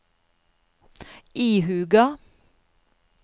ihuga